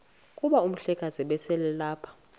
kuba umhlekazi ubeselelapha